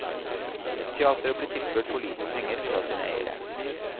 Teatret blir tilført for lite penger fra sine eiere.